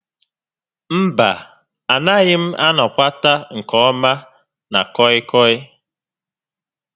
Mba, a naghị m anọkwat nke ọma na kọị kọị